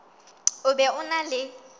o be o na le